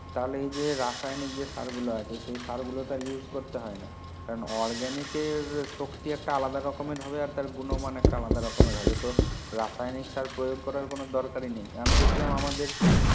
তাহলে এই যে রাসায়নিক যে সার গুলো আছে সে সার গুলো তার use করতে হয় না কারণ organic কে শক্তি একটা আলাদা রকম এর হবে গুনো মান আলাদা রকমের হবে তো রাসায়নিক সার প্রয়োগ করার কোনো দরকারি নেই আমি দেখছিলাম আমাদের